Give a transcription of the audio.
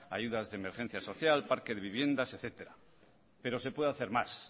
ayudas de emergencia social parque de viviendas etcétera pero se puede hacer más